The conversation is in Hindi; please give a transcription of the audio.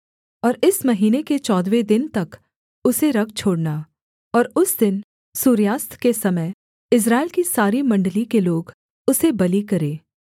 और इस महीने के चौदहवें दिन तक उसे रख छोड़ना और उस दिन सूर्यास्त के समय इस्राएल की सारी मण्डली के लोग उसे बलि करें